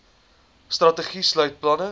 strategie sluit planne